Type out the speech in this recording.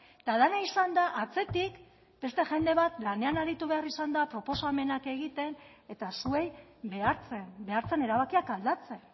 eta dena izan da atzetik beste jende bat lanean aritu behar izan da proposamenak egiten eta zuei behartzen behartzen erabakiak aldatzen